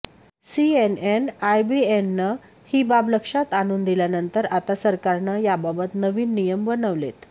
CNN आयबीएननं ही बाब लक्षात आणून दिल्यानंतर आता सरकारनं याबाबत नवीन नियम बनवलेत